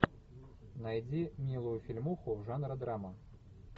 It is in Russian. найди милую фильмуху жанра драма